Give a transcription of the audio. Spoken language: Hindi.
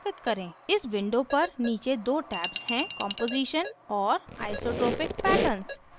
इस window पर नीचे दो tabs हैंकॉम्पोजीशन और isotopic pattern